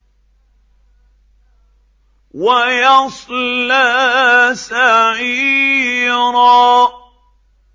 وَيَصْلَىٰ سَعِيرًا